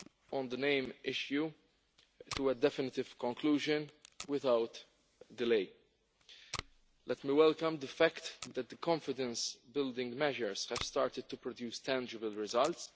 on the name issue to a definitive conclusion without delay. Let me welcome the fact that the confidence building measures have started to produce tangible results.